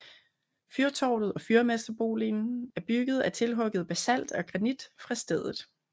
Fyrtårnet og fyrmesterboligen er byggede af tilhugget basalt og granit fra stedet